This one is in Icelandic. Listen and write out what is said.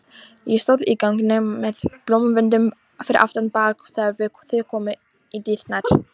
Ég stóð í ganginum með blómvöndinn fyrir aftan bak þegar þið komuð í dyrnar.